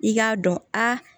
I k'a dɔn a